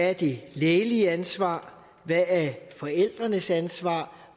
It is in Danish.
er det lægelige ansvar hvad der er forældrenes ansvar